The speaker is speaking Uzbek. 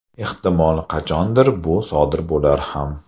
Ehtimol, qachondir bu sodir bo‘lar ham.